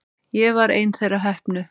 Ég var ein þeirra heppnu.